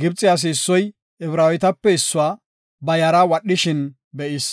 Gibxe asi issoy Ibraawetape issuwa ba yara wadhishin be7is.